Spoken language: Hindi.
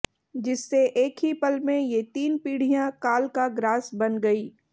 जिससे एक ही पल में ये तीन पीढ़ियां काल का ग्रास बन गईं